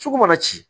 Sugu mana ci